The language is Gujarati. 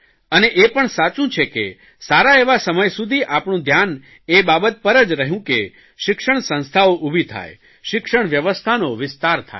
અને એ પણ સાચું છે કે સારા એવા સમય સુધી આપણું ધ્યાન એ બાબત પર જ રહયું કે શિક્ષણ સંસ્થાઓ ઉભી થાય શિક્ષણ વ્યવસ્થાનો વિસ્તાર થાય